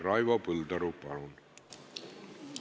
Raivo Põldaru, palun!